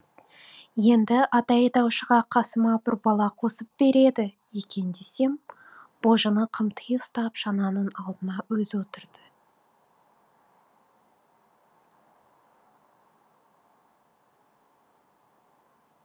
енді ат айдаушыға қасыма бір бала қосып береді екен десем божыны қымти ұстап шананың алдына өзі отырды